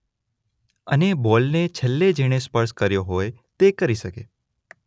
અને બોલને છેલ્લે જેણે સ્પર્શ કર્યો હોય તે કરી શકે